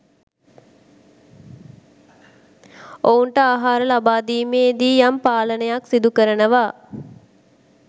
ඔවුන්ට ආහාර ලබා දීමේදී යම් පාලනයක් සිදු කරනවා.